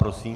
Prosím.